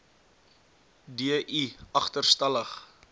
d i agterstallig